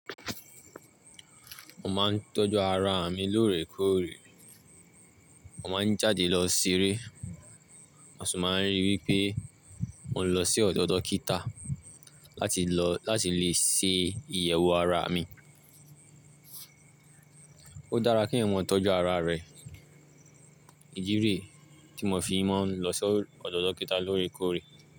Mo máa ń tọ́jú ara mi lóòrèkóòrè. Mo máa ń jáde lọ ṣeré, a sì máa ń rí i wí pé mo ń lọ sí ọ̀dọ̀ dókítà láti lè ṣe ìyẹ̀wò ara mi. Ó dára kí ẹ̀wọ̀n tọ́jú ara rẹ̀. Ijírìì tí mo fi máa ń lọ sí ọ̀dọ̀ dókítà lóòrèkóòrè.